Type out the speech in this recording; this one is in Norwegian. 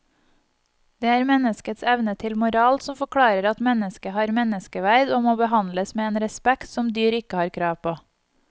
Det er menneskets evne til moral som forklarer at mennesket har menneskeverd og må behandles med en respekt som dyr ikke har krav på.